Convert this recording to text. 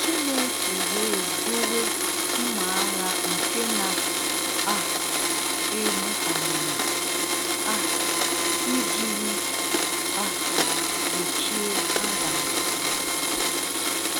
Chineke wee dowe mma agha nke na um egbu amụma um i jiri um gbochie Adam na Eve.